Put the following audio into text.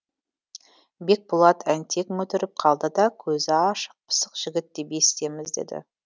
бекболат әнтек мүдіріп қалды да көзі ашық пысық жігіт деп есітеміз деді